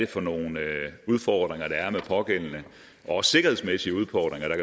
for nogle udfordringer også sikkerhedsmæssige udfordringer der